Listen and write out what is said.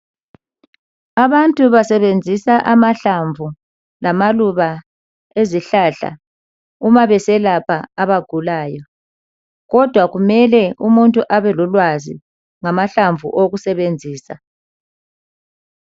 Abantu basebenzisa amahlamvu lama luba ezihlahla umabeselapha abagulayo kodwa kumele umuntu abalolwazi ngamahlamvu okusebenzisa.